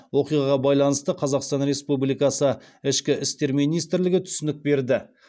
оқиғаға байланысты қазақстан республикасы ішкі істер министрлігі түсінік берді